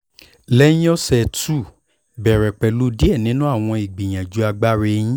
lẹhin ọsẹ two bẹrẹ pẹlu diẹ ninu awọn igbiyanju agbara ẹhin